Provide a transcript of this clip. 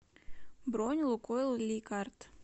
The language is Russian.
бронь лукойл ликард